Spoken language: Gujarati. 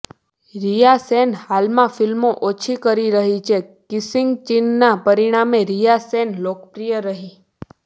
રિયા સેન હાલમાં ફિલ્મો ઓછી કરી રહી છેઃ કિસિંગ સીનના પરિણામે રિયા સેન લોકપ્રિય રહી